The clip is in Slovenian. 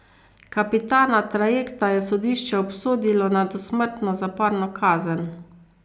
Kapitana trajekta je sodišče obsodilo na dosmrtno zaporno kazen.